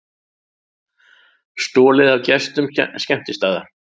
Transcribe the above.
Stolið af gestum skemmtistaða